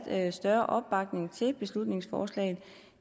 større opbakning til beslutningsforslaget